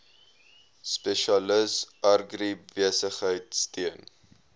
spesialis agribesigheid steun